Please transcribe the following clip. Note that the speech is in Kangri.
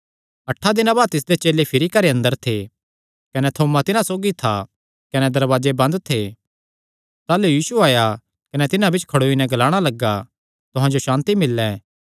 अठां दिनां बाद तिसदे चेले भिरी घरे अंदर थे कने थोमा तिन्हां सौगी था कने दरवाजे बंद थे ताह़लू यीशु आया कने तिन्हां बिच्च खड़ोई नैं ग्लाणा लग्गा तुहां जो सांति मिल्ले